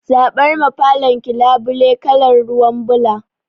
Zaɓar ma falon ki labule kalar ruwan ɓula